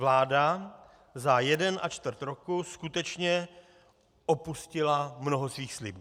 Vláda za jeden a čtvrt roku skutečně opustila mnoho svých slibů.